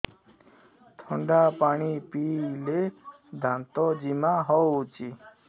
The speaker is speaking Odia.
ଥଣ୍ଡା ପାଣି ପିଇଲେ ଦାନ୍ତ ଜିମା ହଉଚି